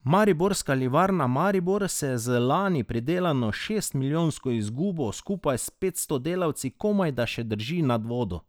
Mariborska livarna Maribor se z lani pridelano šestmilijonsko izgubo skupaj s petsto delavci komajda še drži nad vodo.